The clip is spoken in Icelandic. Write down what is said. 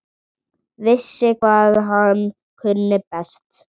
Vissi hvað hann kunni best.